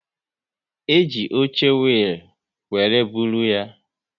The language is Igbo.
E ji oche wiil were bụrụ ya